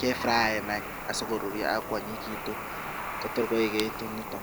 kefraen any asikoruryo ak kwonyinyigitu kotor koigeit nito.